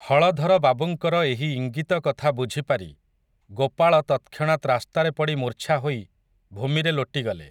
ହଳଧର ବାବୁଙ୍କର ଏହି ଇଙ୍ଗିତ କଥା ବୁଝି ପାରି, ଗୋପାଳ ତତ୍‌କ୍ଷଣାତ୍ ରାସ୍ତାରେ ପଡ଼ି ମୂର୍ଚ୍ଛା ହୋଇ ଭୂମିରେ ଲୋଟିଗଲେ ।